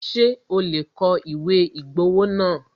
Ṣé o lè kọ ìwé ìgbowó náà?